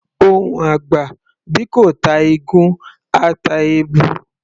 Ohùn àgbà, bí kò ta ìgún, á ta èbù.